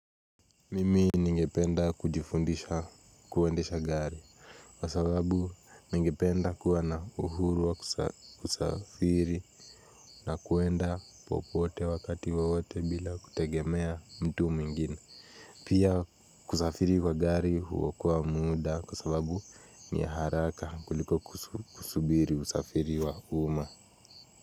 Mimi ningependa kujifundisha kuendesha gari kwa sababu ningependa kuwa na uhuru wa kusafiri na kwenda popote wakati wowote bila kutegemea mtu mwingine. Pia kusafiri kwa gari huokoa muda kwa sababu ni haraka kuliko kusubiri usafiri wa uma.